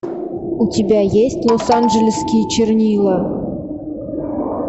у тебя есть лос анджелесские чернила